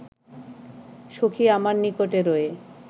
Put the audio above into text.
সখী আমার নিকটে রয়ে